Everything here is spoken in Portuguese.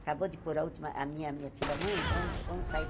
Acabou de pôr a última a minha minha filha-mãe, vamos vamos sair.